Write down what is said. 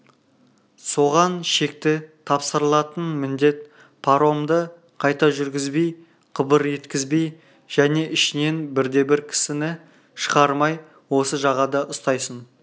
соған шекті тапсырылатын міндет паромды қайта жүргізбей қыбыр еткізбей және ішінен бірде-бір кісіні шығармай осы жағада ұстайсың